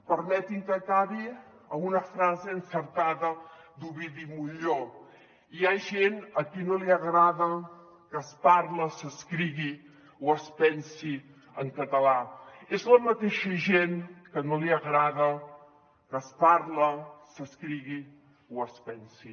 permetin me que acabi amb una frase encertada d’ovidi montllor hi ha gent a qui no li agrada que es parli s’escrigui o es pensi en català és la mateixa gent que no li agrada que es parli s’escrigui o es pensi